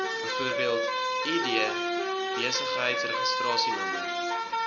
bv id besigheidsregistrasienommer